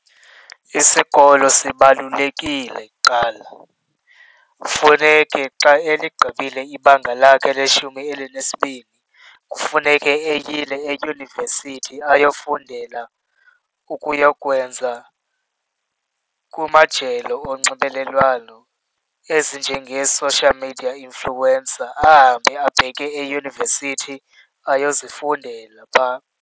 Isikolo sibalulekile kuqala. Kufuneke xa eligqibile ibanga lakhe leshumi elinesibini kufuneke eyile eyunivesithi ayofundela ukuyokwenza kumajelo onxibelelwano ezinjengee-social media influencer, ahambe abheke eyunivesithi ayozifundela phaa.